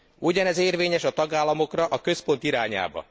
Ugyanez érvényes a tagállamokra a központ irányába.